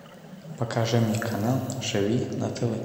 покажи мне канал живи на тв